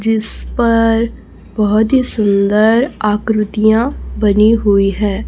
जिस पर बहुत ही सुंदर आकृतियां बनी हुई है।